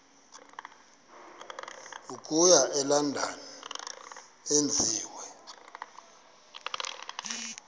okuya elondon enziwe